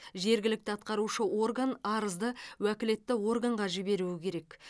жергілікті атқарушы орган арызды уәкілетті органға жіберуі керек